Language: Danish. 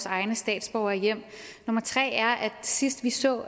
egne statsborgere hjem nummer tre er at sidst vi så